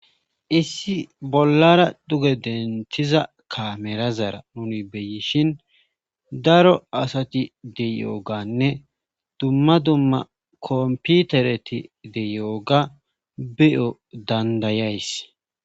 Issi bollara duge denthiza kamera zara nuni beyishin daro asati de yooganne dumma dumma komputereti de yooga beyo dandayays.